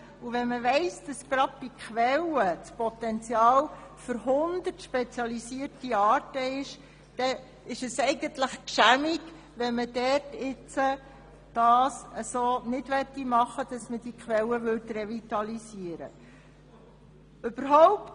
Wenn man weiss, dass gerade bei Quellen ein Potenzial für 100 spezialisierte Arten besteht, dann ist es «gschämig», wenn man solche Quellen nicht revitalisieren kann.